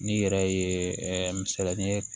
N'i yɛrɛ ye misaliya ye